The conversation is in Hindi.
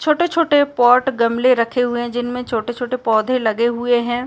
छोटे-छोटे पॉट गमले रखे हुए हैं जिनमे छोटे-छोटे पौधे लगे हुए हैं।